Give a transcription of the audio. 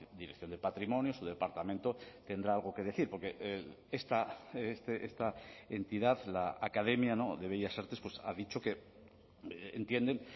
dirección de patrimonio su departamento tendrá algo que decir porque esta entidad la academia de bellas artes pues ha dicho que entienden